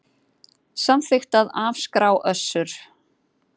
Samþykkt að afskrá Össur